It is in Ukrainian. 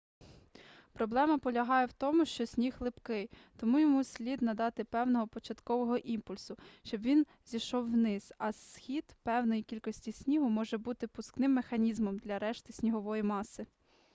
проблема полягає в тому що сніг липкий тому йому слід надати певного початкового імпульсу щоб він зійшов вниз а схід певної кількості снігу може бути пускним механізмом для решти снігової маси